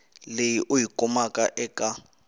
leyi u yi kumaka eka